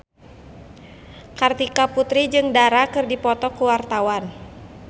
Kartika Putri jeung Dara keur dipoto ku wartawan